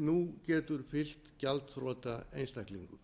nú getur fylgt gjaldþrota einstaklingum